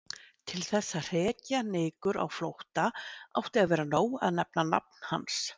Til þess að hrekja nykur á flótta átti að vera nóg að nefna nafn hans.